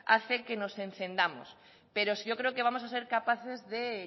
hace que nos encendamos pero sí yo creo que vamos a ser capaces de